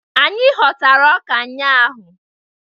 Anyị ghọtara ọka ụnyahụ